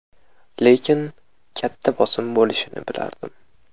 Lekin katta bosim bo‘lishini bilardim.